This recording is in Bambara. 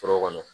Foro kɔnɔ